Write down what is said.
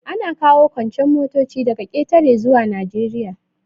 Ana kawo kuncen motoci daga ƙetare zuwa Najeriya.